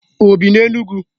O bi n'Enugwu?